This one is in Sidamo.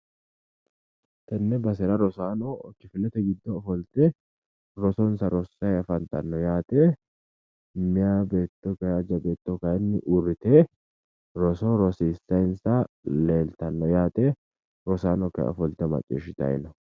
Tenne basera rosaano kifilete ofolte rosonsa rosssayi afantanno yaate meyaa beetto kayi aja beetto kayinni uurrite roso rosiissayinsa leeltanno yaate rosaano kayi ofolte macciishshitayi no.